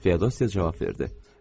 Feodosya cavab verdi.